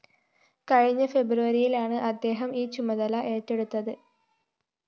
കഴിഞ്ഞ ഫെബ്രുവരിയിലാണ് അദ്ദേഹം ഈ ചുമതല ഏറ്റെടുത്തത്